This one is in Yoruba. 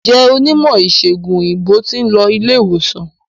Njé Onímò ìsègùn òyìnbó tin lo ilé ìwòsan